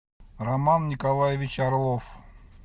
роман николаевич орлов